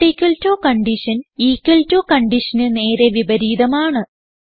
not equal to condition equal to കൺഡിഷന് നേരെ വിപരീതം ആണ്